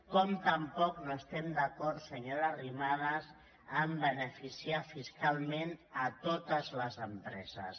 com tampoc no estem d’acord senyora arrimadas amb beneficiar fiscalment totes les empreses